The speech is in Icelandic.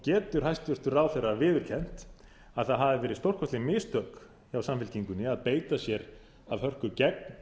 getur hæstvirtur ráðherra viðurkennt að það hafi verið stórkostleg mistök hjá samfylkingunni að beita sér af hörku gegn